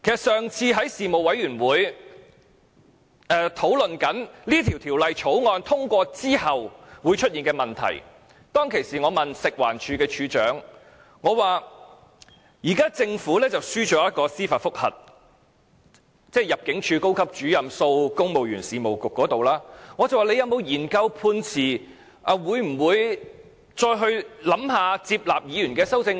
上次在法案委員會討論《條例草案》通過之後會出現的問題，當時我問食物環境衞生署署長，政府在高級入境事務主任訴公務員事務局的司法覆核中敗訴，政府有否研究判詞，會否再考慮接納議員的修正案？